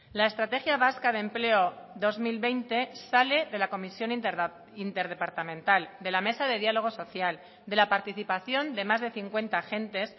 la estrategia vasca de empleo dos mil veinte sale de la comisión interdepartamental de la mesa de diálogo social de la participación de más de cincuenta agentes